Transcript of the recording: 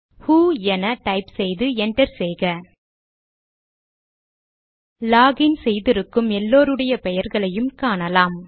ஹு என டைப் செய்து என்டர் செய்க லாக் இன் செய்திருக்கும் எல்லாருடைய பெயர்களையும் காணலாம்